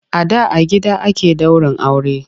A da a gida ake daurin aure.